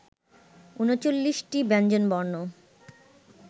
ঊনচল্লিশটি ব্যঞ্জনবর্ণ